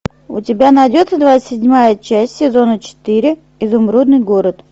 у тебя найдется двадцать седьмая часть сезона четыре изумрудный город